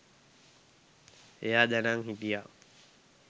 එයා දැනං හිටියා